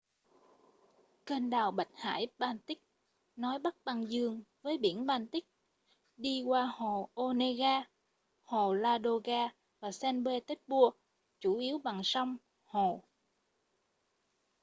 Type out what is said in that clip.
kênh đào bạch hải-baltic nối bắc băng dương với biển baltic đi qua hồ onega hồ ladoga và saint petersburg chủ yếu bằng sông hồ